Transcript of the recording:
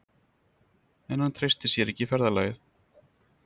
En hann treysti sér ekki í ferðalagið.